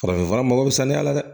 Farafinfura mago bɛ saniya la dɛ